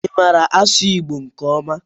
Ị maara asụ Igbo nke ọma?